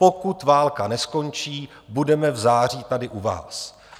Pokud válka neskončí, budeme v září tady u vás.